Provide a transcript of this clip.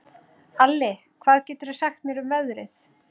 Alli, hvað geturðu sagt mér um veðrið?